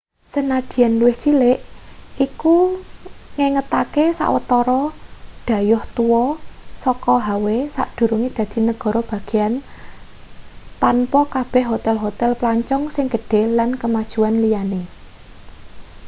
sanajan luwih cilik iku ngengetake sawetara dhayoh tua saka hawaii sadurunge dadi negara bagean tanpa kabeh hotel-hotel plancong sing gedhe lan kemajuan liane